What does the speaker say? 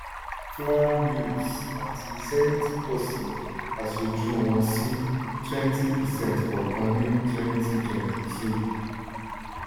flour mills àti zenith pọ̀si aṣojú wọn sí twenty percent kọọkan ní twenty twenty two.